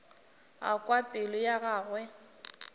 a kwa pelo ya gagwe